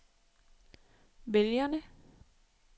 vælgerne